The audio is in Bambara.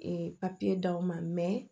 papiye d'aw ma mɛ